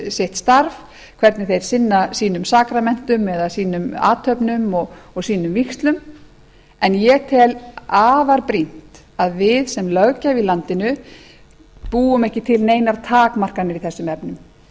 sitt starf hvernig þeir sinna sínum sakramentum eða sínum athöfnum og sínum vígslum en ég tel afar brýnt að við sem löggjafi í landinu búum ekki til neinar takmarkanir í þessum efnum